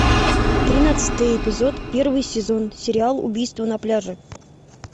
тринадцатый эпизод первый сезон сериал убийство на пляже